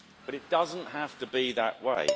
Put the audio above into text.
But it doesn't have to be that way.